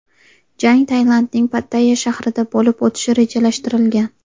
Jang Tailandning Pattayya shahrida bo‘lib o‘tishi rejalashtirilgan.